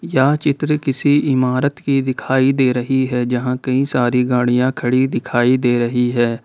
यह चित्र किसी इमारत की दिखाई दे रही है जहां कई सारी गाड़ियां खड़ी दिखाई दे रही है।